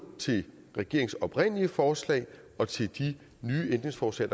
regeringens oprindelige forslag og til de nye ændringsforslag